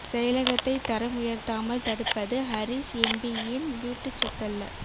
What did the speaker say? செயலகத்தை தரம் உயர்த்தாமல் தடுப்பது ஹரீஸ் எம் பியின் வீட்டுச்சொத்தல்ல